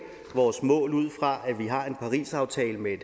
vores mål ud fra at vi har en parisaftale med